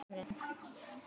Makríll á sumrin.